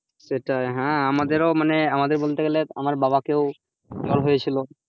সেটাই হ্যাঁ আমাদেরও মানে আমাদের বলতে গেলে আমার বাবাকেও আমার জ্বর হয়েছিল,